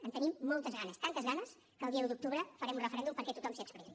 en tenim moltes ganes tantes ganes que el dia un d’octubre farem un referèndum perquè tothom s’hi expressi